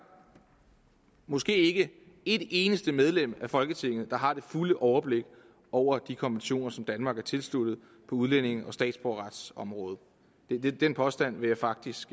måske ikke et eneste medlem af folketinget der har det fulde overblik over de konventioner som danmark er tilsluttet på udlændinge og statsborgerretsområdet den påstand vil jeg faktisk